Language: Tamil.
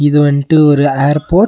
இது வன்ட்டு ஒரு ஏர்போர்ட் .